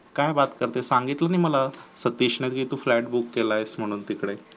काय बात करतेय सांगितलं नाही मला सतीश नगर मध्ये flat book केलाय म्हणून तिकडे